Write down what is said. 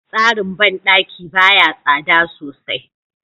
Tsarin bandaki baya tsada sosai.